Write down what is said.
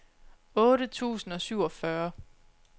otte tusind og syvogfyrre